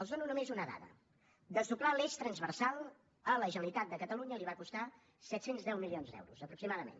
els dono només una dada desdoblar l’eix transversal a la generalitat de catalunya li va costar set cents i deu milions d’euros aproximadament